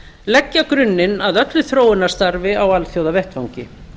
leggja grunninn að öllu þróunarstarfi á alþjóðavettvangi